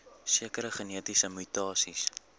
sekere genetiese mutasies